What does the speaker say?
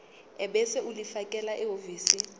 ebese ulifakela ehhovisi